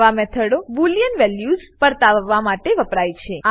આવા મેથાડો રીતે બોલિયન વેલ્યુઝ પર્તાવવા માટે વપરાય છે